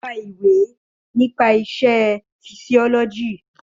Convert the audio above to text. Ó ka ìwé nípa isẹ́ fisíọ́lọ́jì.